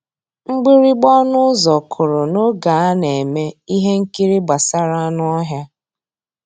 Mgbìrìgbà ọnụ́ ụ́zọ̀ kụ́rụ̀ n'ògé á ná-èmè íhé nkírí gbàsàrà ànú ọ́híá.